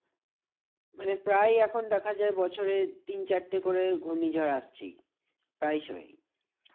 মানে প্রায় এখন দেখা যায় বছরে তিন চারটে করে ঘূর্ণিঝড় আসছেই প্রায় সময়।